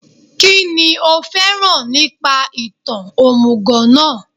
Kínní o fẹ́ràn nípa ìtàn òmùgọ̀ náà